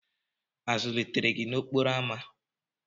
A zụlitere gị n'okporo ámá?